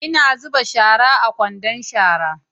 Ina zuba shara a kwandon shara